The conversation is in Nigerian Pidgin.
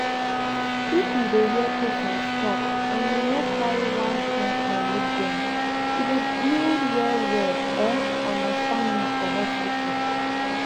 if you dey hear patients talk and you no carry one kind eye look dem e dey build well well eh understanding for hospital